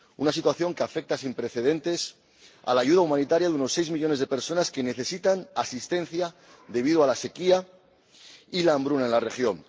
una situación que afecta sin precedentes a la ayuda humanitaria de unos seis millones de personas que necesitan asistencia debido a la sequía y a la hambruna en la región